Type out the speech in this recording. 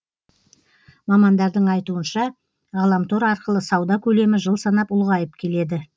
мамандардың айтуынша ғаламтор арқылы сауда көлемі жыл санап ұлғайып келеді